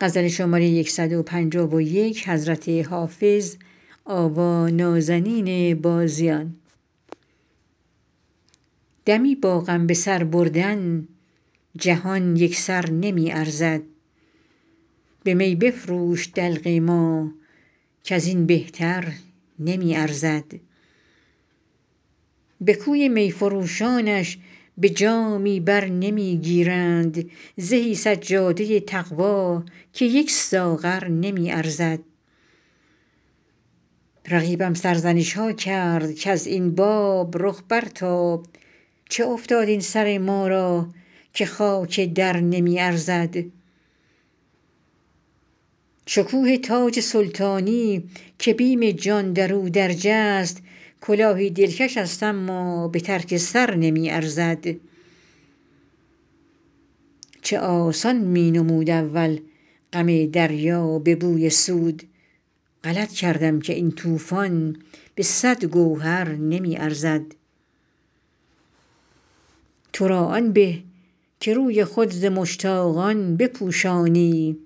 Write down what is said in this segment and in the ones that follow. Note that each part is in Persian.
دمی با غم به سر بردن جهان یک سر نمی ارزد به می بفروش دلق ما کز این بهتر نمی ارزد به کوی می فروشانش به جامی بر نمی گیرند زهی سجاده تقوا که یک ساغر نمی ارزد رقیبم سرزنش ها کرد کز این باب رخ برتاب چه افتاد این سر ما را که خاک در نمی ارزد شکوه تاج سلطانی که بیم جان در او درج است کلاهی دلکش است اما به ترک سر نمی ارزد چه آسان می نمود اول غم دریا به بوی سود غلط کردم که این طوفان به صد گوهر نمی ارزد تو را آن به که روی خود ز مشتاقان بپوشانی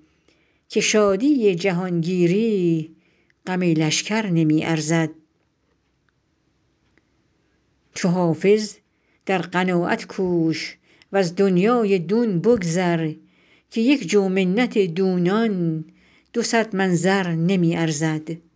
که شادی جهانگیری غم لشکر نمی ارزد چو حافظ در قناعت کوش و از دنیای دون بگذر که یک جو منت دونان دو صد من زر نمی ارزد